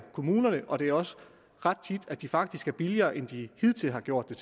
kommunerne og det er også ret tit at de faktisk gør det billigere end de hidtil har gjort